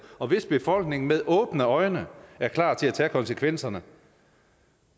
og hvis befolkningen med åbne øjne er klar til at tage konsekvenserne